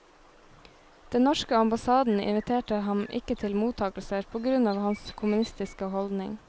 Den norske ambassaden inviterte ham ikke til mottagelser, på grunn av hans kommunistiske holdning.